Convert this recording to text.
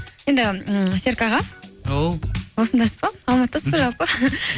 енді м серік аға ау осындасыз ба алматыдасыз ба жалпы